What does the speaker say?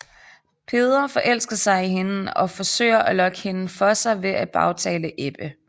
Peder forelsker sig i hende og forsøger at lokke hende for sig ved at bagtale Ebbe